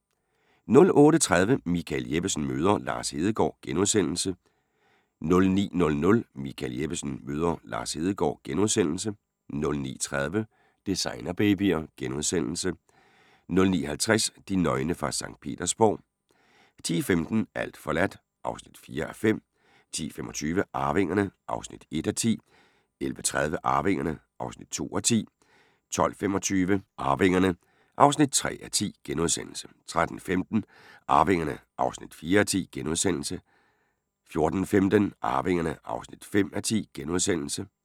08:30: Michael Jeppesen møder... Lars Hedegaard * 09:00: Michael Jeppesen møder ...* 09:30: Designerbabyer * 09:50: De nøgne fra Skt. Petersborg 10:15: Alt forladt (4:5) 10:25: Arvingerne (1:10) 11:30: Arvingerne (2:10) 12:25: Arvingerne (3:10)* 13:15: Arvingerne (4:10)* 14:15: Arvingerne (5:10)*